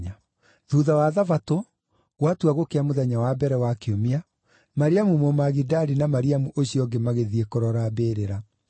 Thuutha wa Thabatũ, gwatua gũkĩa mũthenya wa mbere wa kiumia, Mariamu Mũmagidali na Mariamu ũcio ũngĩ magĩthiĩ kũrora mbĩrĩra.